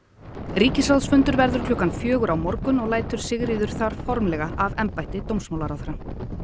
ríkisráðsfundur verður klukkan fjögur á morgun og lætur Sigríður þar formlega af embætti dómsmálaráðherra